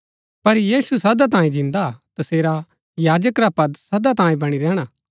पर यीशु सदा तांये जिन्दा हा तसेरा याजक रा पद सदा तांये बणी रैहणा हा